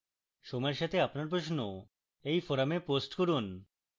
সময়ের সাথে আপনার প্রশ্ন এই forum post করুন